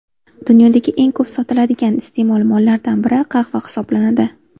Dunyodagi eng ko‘p sotiladigan iste’mol mollaridan biri qahva hisoblanadi.